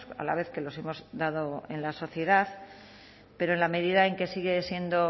a la vez que los hemos dado en la sociedad pero en la medida en que sigue siendo